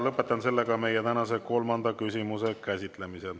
Lõpetan meie tänase kolmanda küsimuse käsitlemise.